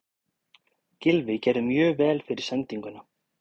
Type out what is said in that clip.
Gylfi gerði mjög vel fyrir sendinguna.